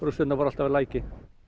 rústirnar voru alltaf við lækinn